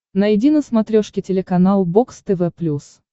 найди на смотрешке телеканал бокс тв плюс